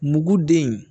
Muguden